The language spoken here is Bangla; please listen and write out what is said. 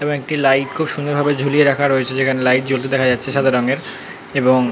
এবং একটি লাইট । খুব সুন্দর ভাবে ঝুলিয়ে রাখা রয়েছে যেখানে লাইট জ্বলতে দেখা যাচ্ছে সাদা রঙের এবং।